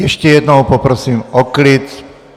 Ještě jednou poprosím o klid!